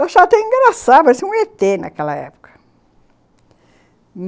Eu achava até engraçado, parecia um ê tê naquela época.